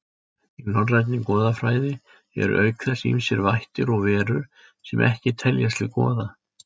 Í norrænni goðafræði eru auk þess ýmsir vættir og verur sem ekki teljast til goða.